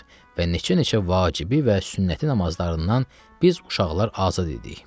Və neçə-neçə vacibi və sünnəti namazlarından biz uşaqlar azad idik.